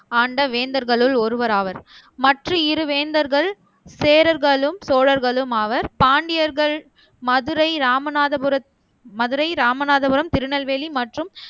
ஆண்ட வேந்தர்களுள் ஒருவர் ஆவர் மத்த இரு வேந்தர்கள் சேரர்களும் சோழர்களும் ஆவர் பாண்டியர்கள் மதுரை ராமநாதபுரம் மதுரை ராமநாதபுரம் திருநெல்வேலி மற்றும்